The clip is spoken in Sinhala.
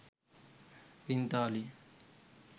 පිංතාලිය